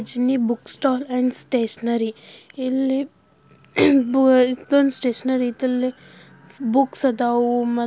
ಗಜಿನ್ನಿ book stall and stationery ಇಲ್ಲಿ book ಅದೋ--